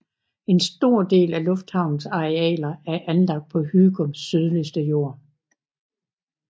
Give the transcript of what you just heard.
En stor del af lufthavnens arealer er anlagt på Hygums sydligste jord